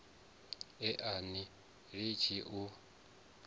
e a ni litshi u